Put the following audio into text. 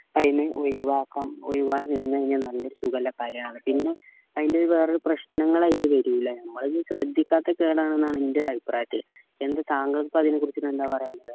ഒഴിവാക്കാം ഒഴിവായി വന്നു കഴിഞ്ഞാൽ നല്ല ഒരു സുഖള്ള കാര്യാണ് പിന്നെ അയിന്റെ വേറൊരു പ്രശ്നങ്ങള് അയിൽ വരൂല നമ്മൾ അത് ശ്രദ്ധിക്കാത്ത കേടാണെന്നാണ് എൻറെ ഒരു അഭിപ്രായത്തിൽ എന്തേ താങ്കൾക്ക് അതിനെ കുറിച്ച് എന്താണ് പറയാനുള്ളത്